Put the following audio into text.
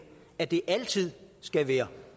at det altid skal være